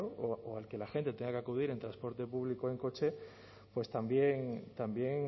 o que la gente tenga que acudir en transporte público o en coche también